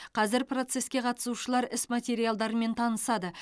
қазір процеске қатысушылар іс материалдарымен танысады